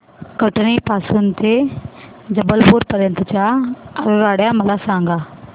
कटनी पासून ते जबलपूर पर्यंत च्या आगगाड्या मला सांगा